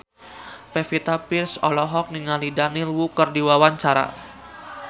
Pevita Pearce olohok ningali Daniel Wu keur diwawancara